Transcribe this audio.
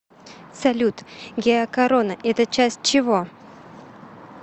салют геокорона это часть чего